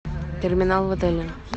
терминал в отеле